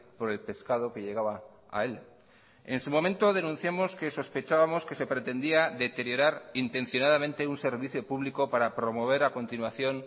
por el pescado que llegaba a él en su momento denunciamos que sospechábamos que se pretendía deteriorar intencionadamente un servicio público para promover a continuación